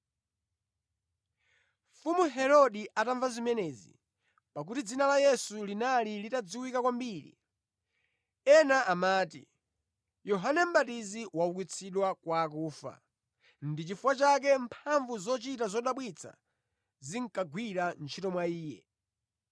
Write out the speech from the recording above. Mfumu Herode anamva zimenezi, pakuti dzina la Yesu linali litadziwika kwambiri. Ena amati, “Yohane Mʼbatizi waukitsidwa kwa akufa, ndipo nʼchifukwa chake mphamvu zochita zodabwitsa zinkagwira ntchito mwa Iye.”